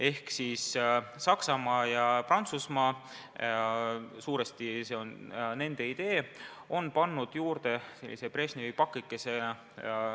Ehk siis Saksamaa ja Prantsusmaa – suuresti on tegu nende ideega – on lahendusele juurde pannud sellise Brežnevi pakikese lisanduse.